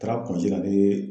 Taara la ne